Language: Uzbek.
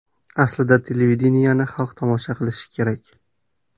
Aslida televideniyeni xalq tomosha qilish kerak.